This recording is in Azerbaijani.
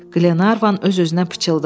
Glenarvan öz-özünə pıçıldadı.